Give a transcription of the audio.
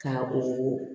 Ka o